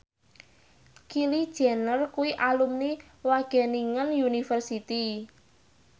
Kylie Jenner kuwi alumni Wageningen University